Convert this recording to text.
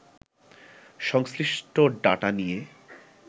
সংশ্লিষ্ট ডাটা নিয়ে